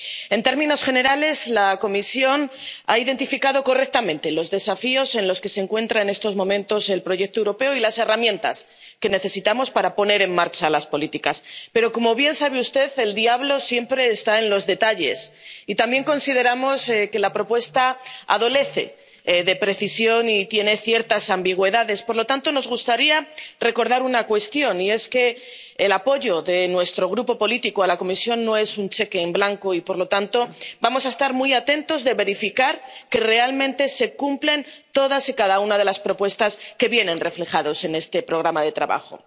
En términos generales, la Comisión ha identificado correctamente los desafíos en los que se encuentra en estos momentos el proyecto europeo y las herramientas que necesitamos para poner en marcha las políticas. Pero como bien sabe usted, el diablo siempre está en los detalles, y también consideramos que la propuesta carece de precisión y tiene ciertas ambigüedades. Por lo tanto, nos gustaría recordar una cuestión que el apoyo de nuestro grupo político a la Comisión no es un cheque en blanco, y por lo tanto vamos a estar muy atentos para verificar que realmente se cumplen todas y cada una de las propuestas que vienen reflejadas en este programa de trabajo.